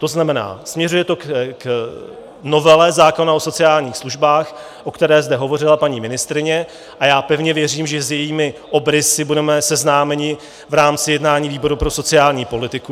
To znamená, směřuje to k novele zákona o sociálních službách, o které zde hovořila paní ministryně, a já pevně věřím, že s jejími obrysy budeme seznámeni v rámci jednání výboru pro sociální politiku.